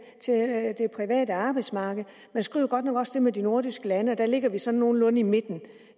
private arbejdsmarked man skriver godt nok også det med det nordiske lande og der ligger vi sådan nogenlunde i midten